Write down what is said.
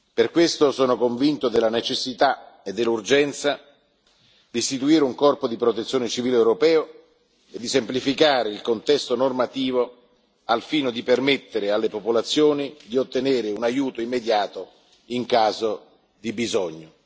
Per questo sono convinto della necessità e dell'urgenza di istituire un corpo di protezione civile europeo e di semplificare il contesto normativo, al fine di permettere alle popolazioni di ottenere un aiuto immediato in caso di bisogno.